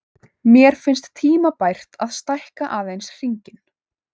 Mér finnst tímabært að stækka aðeins hringinn.